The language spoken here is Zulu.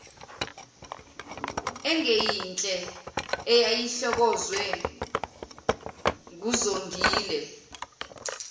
engeyinhle eyayihlokozwe nguzongile